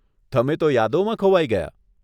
તમે તો યાદોમાં ખોવાઈ ગયા.